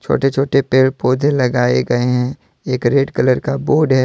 छोटे छोटे पेड़ पौधे लगाए गए हैंएक रेड कलर का बोर्ड है।